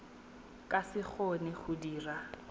ka se kgone go dira